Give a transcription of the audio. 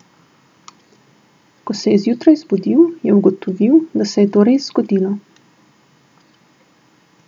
Ko se je zjutraj zbudil, je ugotovil, da se je to res zgodilo.